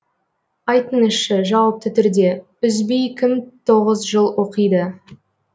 айтыңызшы жауапты түрде үзбей кім тоғыз жыл оқиды